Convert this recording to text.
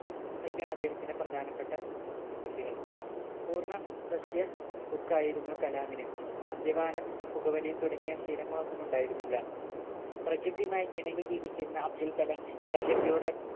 ഇതൊക്കെയാണ് അദ്ദേഹത്തിന്റെ പ്രധാനപ്പെട്ട കൃതികൾ പൂർണ്ണ സസ്യ ബുക്ക് ആയിരുന്നു കലാമിന് മദ്യപാനം പുകവലി തുടങ്ങിയ ശീലങ്ങൾ ഒന്നും ഉണ്ടായിരുന്നില്ല പ്രകൃതിയുമായി ഇണങ്ങി ജീവിക്കുന്ന അബ്ദുൾകലാം പ്രകൃതിയുടെ